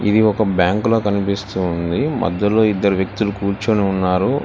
ఇది ఒక బ్యాంక్ల కనిపిస్తుంది మధ్యలో ఇద్దరు వ్యక్తులు కూర్చొని ఉన్నారు.